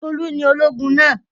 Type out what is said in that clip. Tolú ni ológun náà.